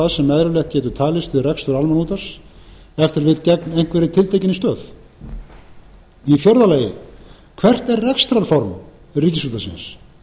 það sem eðlilegt getur talist við rekstur almannaútvarps ef til vill gegn einhverri tiltekinni stöð fjórða hvert er rekstrarform ríkisútvarpsins